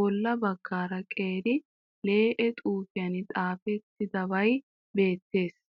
bolla bagaara qeeri lee'e xuufiyaan xafettidabay beettees.